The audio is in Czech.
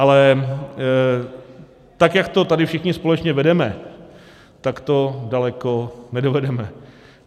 Ale tak jak to tady všichni společně vedeme, tak to daleko nedovedeme.